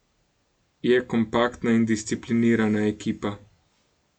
Je kompaktna in disciplinirana ekipa.